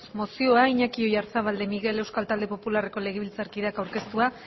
mozioa iñaki oyarzabal de miguel euskal talde popularreko legebiltzarkideak aurkeztua